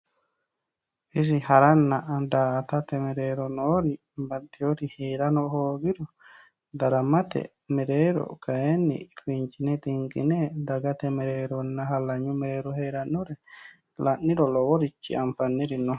isi haranna daa''atate mereero noori baxxinori heerano hoogiro daramate mereero kayiinni fincine xinqine dagate mereeronna hallanyu mereero heerannori la'niro loworichi anfanniri no.